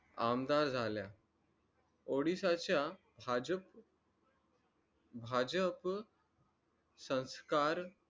आमदार झाल्या odisha च्या भाजप भाजप संस्कार